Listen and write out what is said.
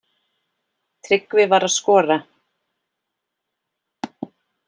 Tryggvi var að skora.